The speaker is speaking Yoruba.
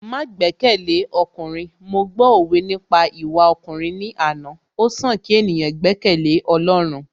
Má gbẹ́kẹ̀lé ọkùnrin, mo gbọ́ òwe nípa ìwà ọkùnrin ní àná, ó sàn kí ènìyàn gbẹ́kẹ̀lé Ọlọ́run